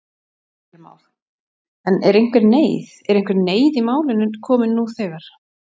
Heimir Már: En er einhver neyð, er einhver neyð í málinu komin nú þegar?